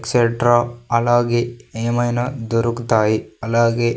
Etcetera అలాగే ఏమైనా దొరుకుతాయి అలాగే.